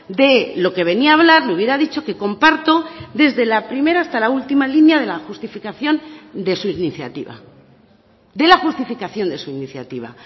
de lo que venía a hablar le hubiera dicho que comparto desde la primera hasta la última línea de la justificación de su iniciativa